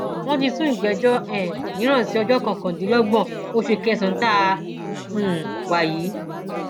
wọn ti sún ìgbẹjọ um mìíràn sí ọjọ kọkàndínlọgbọn oṣù kẹsànán tá a um wà yìí